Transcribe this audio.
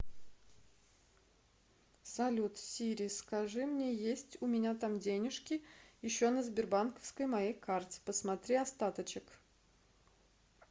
салют сири скажи мне есть у меня там денежки еще на сбербанковской моей карте посмотри остаточек